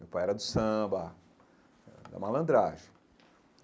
Meu pai era do samba, eh da malandragem.